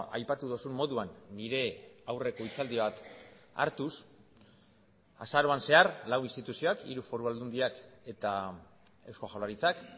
aipatu duzun moduan nire aurreko hitzaldi bat hartuz azaroan zehar lau instituzioak hiru foru aldundiak eta eusko jaurlaritzak